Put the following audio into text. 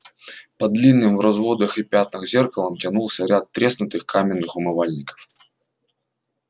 под длинным в разводах и пятнах зеркалом тянулся ряд треснутых каменных умывальников